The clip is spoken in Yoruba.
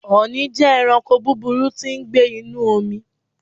Ọ̀nì jẹ́ ẹranko búburú tí ń gbé inúu omi.